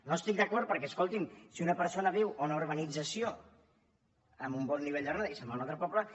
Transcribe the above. no hi estic d’acord perquè escolti’m si una persona viu en una urbanització amb un bon nivell de renda i se’n va a un altre poble